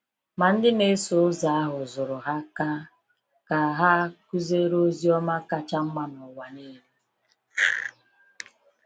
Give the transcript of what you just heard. Ma ndị na-eso ụzọ ahụ zụrụ ha ka ka ha kụziere ozi ọma kacha mma n’ụwa niile.